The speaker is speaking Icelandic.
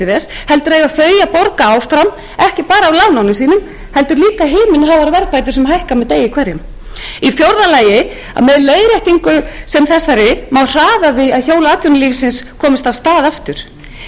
eiga þau að borga áfram ekki bara af lánunum sínum heldur líka himinháar verðbætur sem hækka með degi hverjum í fjórða lagi má með leiðréttingu sem þessari hraða því að hjól atvinnulífsins komist af stað aftur í fimmta